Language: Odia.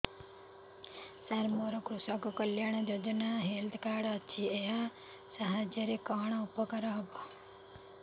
ସାର ମୋର କୃଷକ କଲ୍ୟାଣ ଯୋଜନା ହେଲ୍ଥ କାର୍ଡ ଅଛି ଏହା ସାହାଯ୍ୟ ରେ କଣ ଉପକାର ହବ